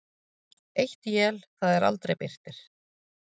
Eitt él það er aldrei birtir.